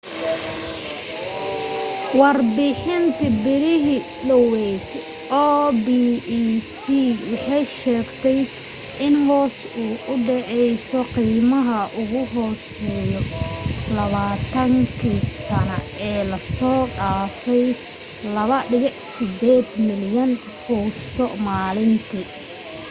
warbixintii bilihii dhaweyd opec waxay sheegtay in hoos u dhaceyso qiimihii ugu hooseeyey labaatan kii sano ee la soo dhaafay 2.8 milyan fuusto maalintii